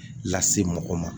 Lase mɔgɔ ma